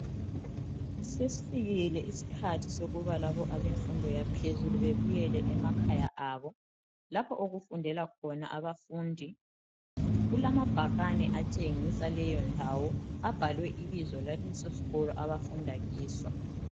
Sesifikile isikhathi sokubana abemfundo yaphezulu bebuyele emakhaya abo. Lapho okufundela khona abafundi kulamabhakani atshengisa leyo ndawo abhalwe ibizo laleso sikolo abafunda kiso.